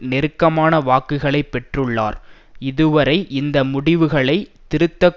நெருக்கமான வாக்குகளை பெற்றுள்ளார் இதுவரை இந்த முடிவுகளை திருத்தக்